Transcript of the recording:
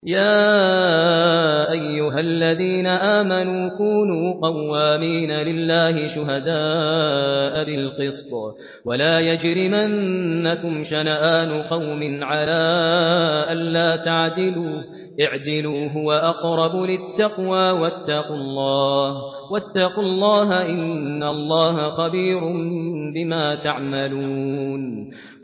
يَا أَيُّهَا الَّذِينَ آمَنُوا كُونُوا قَوَّامِينَ لِلَّهِ شُهَدَاءَ بِالْقِسْطِ ۖ وَلَا يَجْرِمَنَّكُمْ شَنَآنُ قَوْمٍ عَلَىٰ أَلَّا تَعْدِلُوا ۚ اعْدِلُوا هُوَ أَقْرَبُ لِلتَّقْوَىٰ ۖ وَاتَّقُوا اللَّهَ ۚ إِنَّ اللَّهَ خَبِيرٌ بِمَا تَعْمَلُونَ